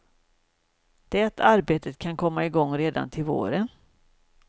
Det arbetet kan komma igång redan till våren.